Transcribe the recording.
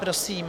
Prosím.